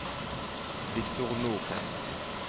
Viktor Nordheim